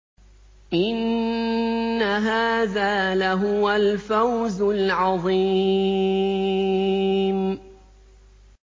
إِنَّ هَٰذَا لَهُوَ الْفَوْزُ الْعَظِيمُ